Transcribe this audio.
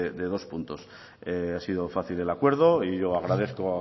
de dos puntos ha sido fácil el acuerdo y yo agradezco